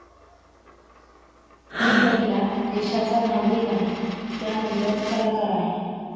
मी पहिला देशाचा नागरिक आहे, त्यानंतर कलाकार आहे.